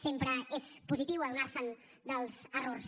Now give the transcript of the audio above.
sempre és positiu adonar se dels errors